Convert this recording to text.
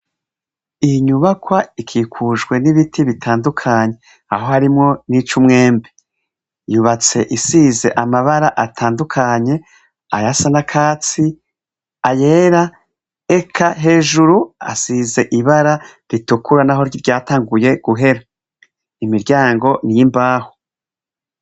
Inyubakwa ikikujwe n'ibiti bitandukanye ahoharimwo nic'umwembe; yubatse isize amabara atandukanye ayasa n'akatsi, ayera eka hejuru asize ibara ritukura naho ryatanguye guhera. Imiryango n'imbaho.